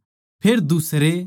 फेर दुसरे